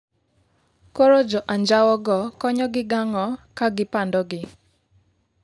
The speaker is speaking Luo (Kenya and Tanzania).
koro jo anjawo go konyogi gi ang'o kagipandogi